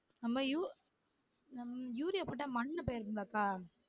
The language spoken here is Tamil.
நம்ம யூ நம்ம யூரியா போட்டா மண்ணு போயிரும்லாக்கா